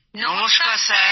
নমস্কার স্যার